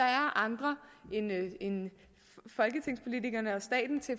er andre end folketingspolitikerne og staten til